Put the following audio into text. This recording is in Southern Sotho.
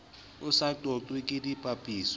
o sa qoqweng ke dipapiso